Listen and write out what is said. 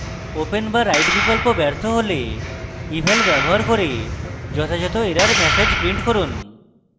open বা write বিকল্প ব্যর্থ হলে eval ব্যবহার করে যথাযথ error ম্যাসেজ print করুন